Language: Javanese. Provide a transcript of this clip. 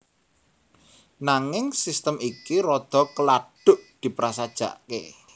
Nanging sistem iki rada keladuk diprasajakaké